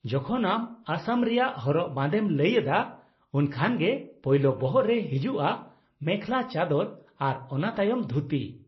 ᱡᱚᱠᱷᱚᱱ ᱟᱢ ᱟᱥᱟᱢ ᱨᱮᱭᱟᱜ ᱦᱚᱨᱚᱜ ᱵᱟᱸᱫᱮᱢ ᱞᱟᱹᱭ ᱮᱫᱟ, ᱩᱱᱠᱷᱟᱱ ᱜᱮ ᱯᱳᱭᱞᱳ ᱵᱚᱦᱚᱜ ᱨᱮ ᱦᱤᱡᱩᱜᱼᱟ ᱢᱮᱠᱷᱞᱟᱼ ᱪᱟᱫᱚᱨ ᱟᱨ ᱚᱱᱟ ᱛᱟᱭᱚᱢ ᱫᱷᱩᱛᱤ ᱾